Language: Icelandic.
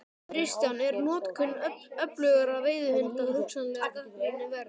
Kristján: Er notkun öflugra veiðihunda hugsanlega gagnrýni verð?